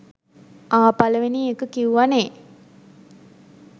ආ! පලවෙනි ඒක කිවුව නේ?